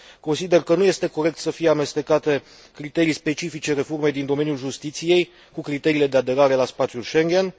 Consider că nu este corect să fie amestecate criterii specifice reformei din domeniul justiției cu criteriile de aderare la spațiul Schengen.